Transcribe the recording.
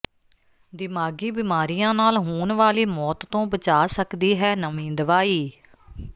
ਦਿਮਾਗ਼ੀ ਬਿਮਾਰੀਆਂ ਨਾਲ ਹੋਣ ਵਾਲੀ ਮੌਤ ਤੋਂ ਬਚਾ ਸਕਦੀ ਹੈ ਨਵੀਂ ਦਵਾਈ